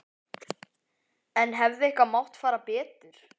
En hefði eitthvað mátt fara betur?